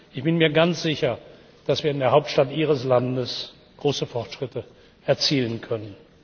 Ich bin mir ganz sicher, dass wir in der Hauptstadt Ihres Landes große Fortschritte erzielen können.